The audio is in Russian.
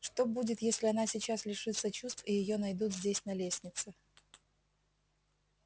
что будет если она сейчас лишится чувств и её найдут здесь на лестнице